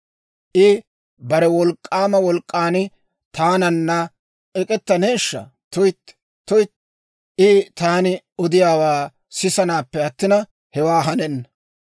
I bare wolk'k'aama wolk'k'an taananna ek'ettaneeshsha? Tuytti, tuytti, I taani odiyaawaa sisanaappe attina, hewaa hanenna.